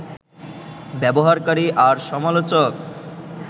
ব্যবহারকারী আর সমালোচক